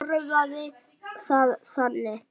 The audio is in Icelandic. Orðaði það þannig.